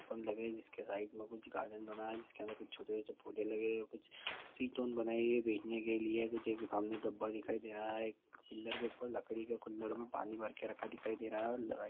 जिसके साईड मे कुछ गार्डन बना है जिसके अंदर कुछ छोटे छोटे पोधे लगे है कुछ सीट बनाई हुई है बैठने के लिए कुछ एक सामने डब्बा दिखाई देहरा है एक पिलर के उपार लकड़ी के कुल्लड़ मे पानी भरके रखा दिखाई दे रहा है और--